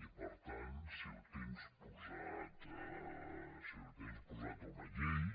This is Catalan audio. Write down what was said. i per tant si ho tens posat en una llei